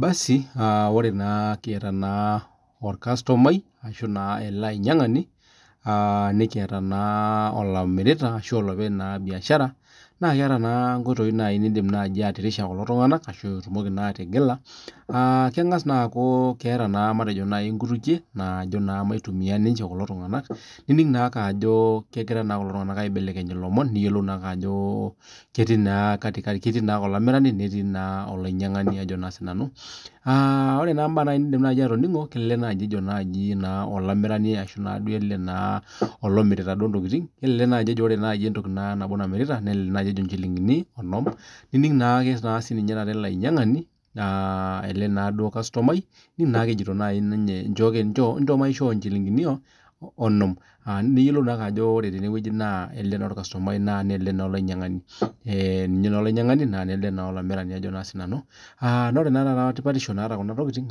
Basi ore naa kieta naa orkastomai ashu naa ale ainyang'ani nikieta naa olomirita ashu olopeny naa imbiashara naa keeta naa inkoitoi niindim naaji atirishie kulo tunganak ashu itumoki naa atigila. Kengas naa aaku keeta naa matejo nai inkutukie naaji naa maitumiyai ninche kulo tunganak, nining' naake ajo kegira kulo tunganak aibelekeny ilomon nayiolou naake ajo ketii naa oloimirani netii naa olainyang'ani ajo naa sii nanu. Ore naa nabaa naji niindim atoning'o naaji ejo naji olaimirani ashu naa duo ale naa olomirita duo intokitin ale naji ejo naaji entoki naa nabo namirita ,nelelek emirieki inchilingini onom nining' naake ninye taata ilainyang'ani laa ale naa duo irkastomai, naake wjo nai ninye inchooki inchoo maishoo inchilingini onom naa ninyiolou naake ajo teneweji ajo ale taa irkastomai naa ale taa olainyang'ani. Naa ore taata etipatisho naata khna tokitin